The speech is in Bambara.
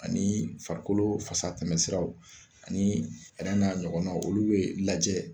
Ani farikolo fasa tɛmɛsiraw ani ɛrɛn n'a ɲɔgɔnaw olu be lajɛ